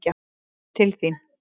Kem til þín.